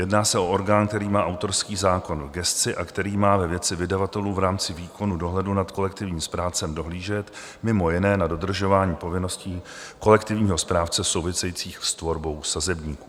Jedná se o orgán, který má autorský zákon v gesci a který má ve věci vydavatelů v rámci výkonu dohledu nad kolektivním správcem dohlížet, mimo jiné na dodržování povinností kolektivního správce souvisejících s tvorbou sazebníků.